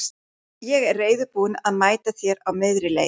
Ég er reiðubúinn að mæta þér á miðri leið.